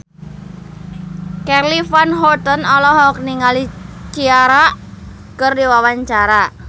Charly Van Houten olohok ningali Ciara keur diwawancara